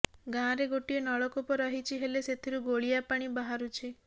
ଗାଁରେ ଗୋଟିଏ ନଳକୂପ ରହିଛି ହେଲେ ସେଥିରୁ ଗୋଳିଆ ପାଣି ବାହାରୁଛି